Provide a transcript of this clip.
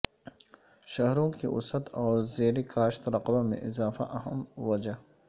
شہروں کی وسعت اور زیرکاشت رقبہ میں اضافہ اہم وجہ